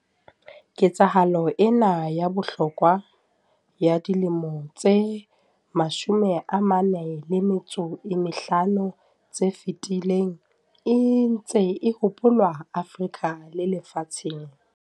Ketsahalo ena ya bohlokwa ya dilemong tse 45 tse fetileng e ntse e hopolwa Afrika le lefatsheng.